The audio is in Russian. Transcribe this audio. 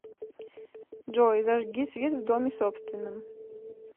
джой зажги свет в доме собственном